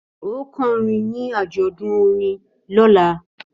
Ó kọrin ní àjọ̀dún orin lọ́la!